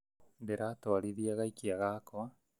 Ndĩratwarithia gaikia gakwa